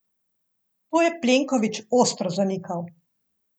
To je Plenković ostro zanikal.